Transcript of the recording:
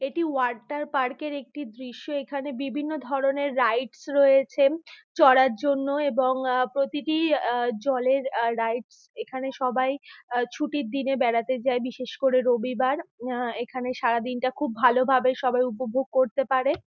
এটি water park -এর একটি দৃশ্য এখানে | বিভিন্ন ধরনের রাইডস রয়েছেন চড়ার জন্য | এবং আঁ প্রতিটি আঁ জলের আঁ রাইডস | এখানে সবাই ছুটির দিনে বেড়াতে যায় বিশেষ করে রবিবার | উম এখানে সারাদিনটা খুব ভালো ভাবে সবাই উপভোগ করতে পারে।